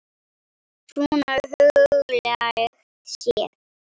Svona huglægt séð.